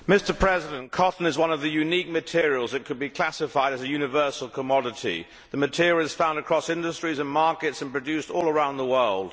Mr President, cotton is one of the unique materials that could be classified as a universal commodity. The material is found across industries and markets and produced all around the world.